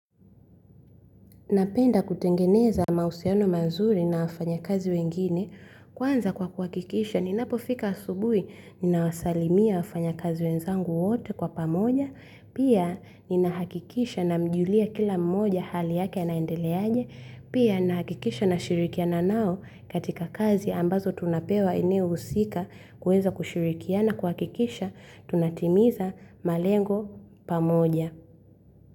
Napenda kutengeneza mausiano mazuri na wafanya kazi wengine, kwanza kwa kuhakikisha, ninapo fika asubui, ninawasalimia wafanya kazi wenzangu wote kwa pamoja, pia ninahakikisha na mjulia kila mmoja hali yake anaendeleaje, pia ninahakikisha na shirikiana nao katika kazi ambazo tunapewa eneo husika kueza kushirikiana kuhakikisha, tunatimiza malengo pamoja.